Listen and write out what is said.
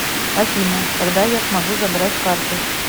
афина когда я смогу забрать карту